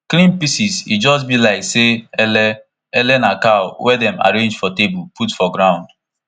clean pieces e just be like say ele ele na cow wey dem arrange for table put for ground